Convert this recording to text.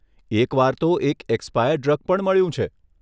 એકવાર તો એક એક્સપાયર્ડ ડ્રગ પણ મળ્યું છે.